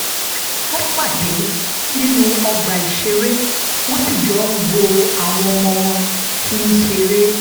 wọ́n pàdé nínú ọgbà ìṣeré wọ́n sì jọ ń wo àwọn ọmọ wọn tí ń ṣeré